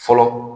Fɔlɔ